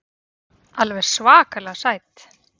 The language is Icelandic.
Alveg svakalega sæt.